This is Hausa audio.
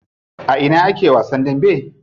A ina ake wasan dambe?